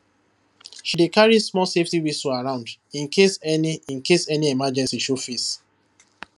she dey carry small safety whistle around in case any in case any emergency show face